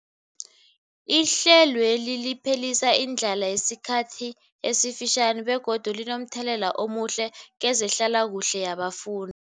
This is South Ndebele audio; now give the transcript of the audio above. Ihlelweli liphelisa indlala yesikhathi esifitjhani begodu linomthelela omuhle kezehlalakuhle yabafun